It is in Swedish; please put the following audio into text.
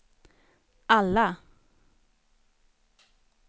alla